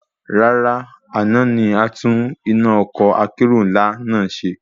Rárá, àná ni atún iná ọkọ́ akérò ńlá náà ṣe